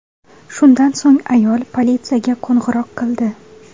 Shundan so‘ng ayol politsiyaga qo‘ng‘iroq qildi.